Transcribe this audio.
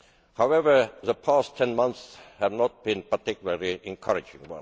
However, the past ten months have not been particularly encouraging.